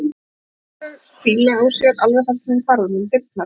Og hún fann þau hvíla á sér alveg þar til hún hvarf út um dyrnar.